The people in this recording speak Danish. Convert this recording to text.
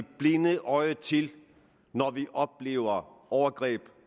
blinde øje til når vi oplever overgreb